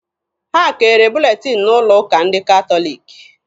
Ha kere buletin n'ụlọ ụka ndị katọliki.